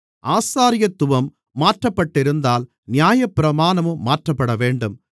ஆசாரியத்துவம் மாற்றப்பட்டிருந்தால் நியாயப்பிரமாணமும் மாற்றப்படவேண்டும்